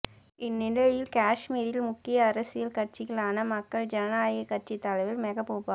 இந்நிலையில் காஷ்மீரில் முக்கிய அரசியல் கட்சிகளான மக்கள் ஜனநாயக கட்சி தலைவர் மெகபூபா